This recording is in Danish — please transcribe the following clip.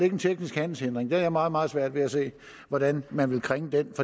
en teknisk handelshindring jeg har meget meget svært ved at se hvordan man vil kringle den